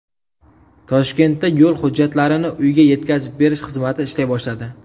Toshkentda yo‘l hujjatlarini uyga yetkazib berish xizmati ishlay boshladi.